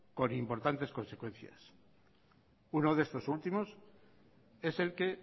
con importantes consecuencias uno de estos últimos es el que